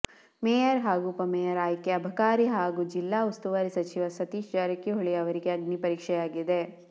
mayor ಹಾಗೂ ಉಪಮೇಯರ್ ಆಯ್ಕೆ ಅಬಕಾರಿ ಹಾಗೂ ಜಿಲ್ಲಾ ಉಸ್ತುವಾರಿ ಸಚಿವ ಸತೀಶ ಜಾರಕಿಹೊಳಿ ಅವರಿಗೆ ಅಗ್ನಿ ಪರೀಕ್ಷೆಯಾಗಿದೆ